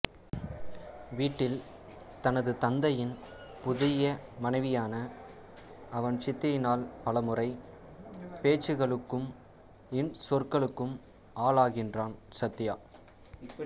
வீட்டில் தனது தந்தையின் புதிய மனைவியான அவன் சித்தியினால் பலமுறை பேச்சுக்களுக்கும் இன்சொற்களுக்கும் ஆளாகின்றான் சத்யா